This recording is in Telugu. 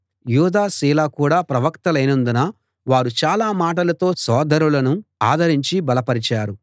యూదా సీల కూడా ప్రవక్తలైనందున వారు చాలా మాటలతో సోదరులను ఆదరించి బలపరిచారు